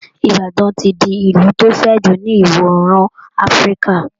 Ibadan ti di ìlù tó fẹ̀ jù ní ìwọ̀ òòrùn Afrika